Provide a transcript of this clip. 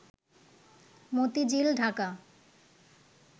Motijheel, Dhaka